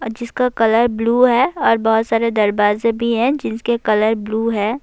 جسکا colour blue ہے اور بھوت سارے دروازے بھی ہے جسکے کلر بلوے ہے۔